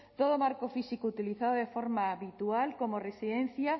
todo marco físico utilizado de forma habitual como residencia